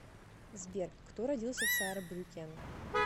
сбер кто родился в саарбрюккен